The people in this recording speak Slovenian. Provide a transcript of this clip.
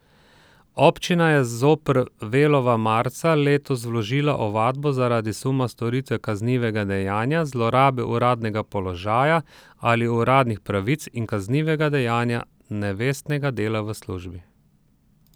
Občina je zoper Velova marca letos vložila ovadbo zaradi suma storitve kaznivega dejanja zlorabe uradnega položaja ali uradnih pravic in kaznivega dejanja nevestnega dela v službi.